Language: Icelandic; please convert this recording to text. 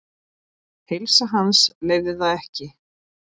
Heilsa hans leyfði það ekki.